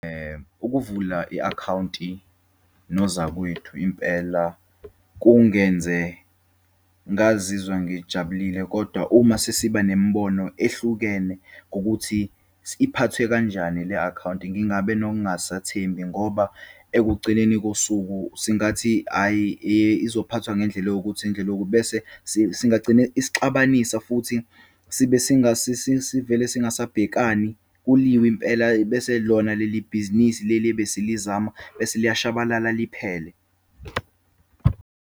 Ukuvula i-akhawunti nozakwethu impela kungenze ngazizwa ngijabulile, kodwa uma sesiba nemibono ehlukene ngokuthi iphathwe kanjani le-akhawunti, ngingabe nokungasathembi, ngoba ekugcineni kosuku singathi ayi, eyi, izophathwa ngendlela ewukuthi ngendlela ewukuthi. Bese singagcine isixabanisa futhi sibe sivele singasabhekani, kuliwe impela, bese lona leli bhizinisi leli ebesilizama, bese liyashabalala liphele.